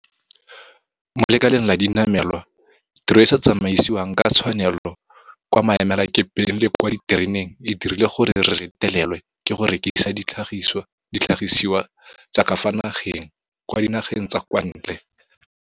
Mo lekaleng la dinamelwa, tiro e e sa tsamaisiweng ka tshwanelo kwa maemelakepeng le kwa ditereneng e dirile gore re retelelwe ke go rekisa ditlhagisiwa tsa ka fa nageng kwa dinageng tsa kwa ntle.